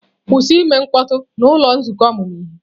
Kwụsị ime mkpọtụ n'ụlọ nzukọ ọmụmụ ihe!